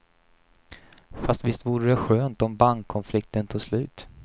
Fast visst vore det skönt om bankkonflikten tog slut.